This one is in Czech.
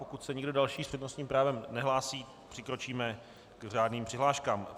Pokud se nikdo další s přednostním právem nehlásí, přikročíme k řádným přihláškám.